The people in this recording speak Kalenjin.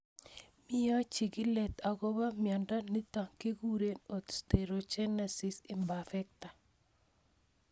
Mio chigilet akopo miondo nitok kikure Osteogenesis imperfecta